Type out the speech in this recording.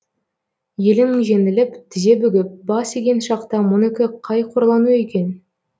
елің жеңіліп тізе бүгіп бас иген шақта мұныкі қай қорлану екен